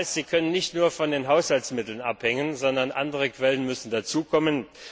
Sie dürfen nicht nur von den Haushaltsmitteln abhängen, sondern andere Quellen müssen hinzukommen.